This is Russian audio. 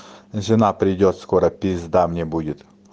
жена придёт скоро пизда мне будет